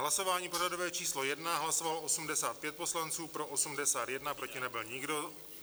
Hlasování pořadové číslo 1, hlasovalo 85 poslanců, pro 81, proti nebyl nikdo.